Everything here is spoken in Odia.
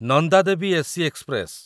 Nanda Devi AC express